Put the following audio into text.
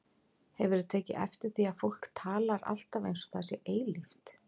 Hefurðu tekið eftir því að fólk talar alltaf eins og það sé eilíft?